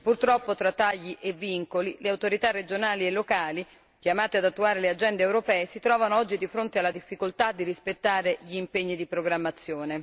Purtroppo, tra tagli e vincoli, le autorità regionali e locali chiamate ad attuare le agende europee, si trovano oggi di fronte alla difficoltà di rispettare gli impegni di programmazione.